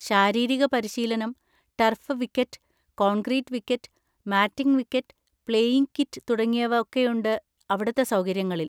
ശാരീരിക പരിശീലനം, turf wicket, concrete wicket, matting wicket, playing kit തുടങ്ങിയവ ഒക്കെയുണ്ട് അവിടുത്തെ സൗകര്യങ്ങളിൽ.